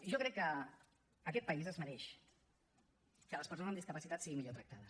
jo crec que aquest país es mereix que les persones amb discapacitat siguin millor tractades